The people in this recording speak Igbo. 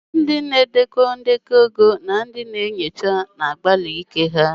Ndị na-edekọ ndekọ ego, ndị na-enyocha ego na-enyocha, na-emesi ike n'ezi ihe.